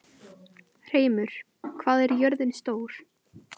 Hreimur, hvað er jörðin stór?